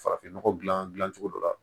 Farafin nɔgɔ dilan dilan cogo dɔ la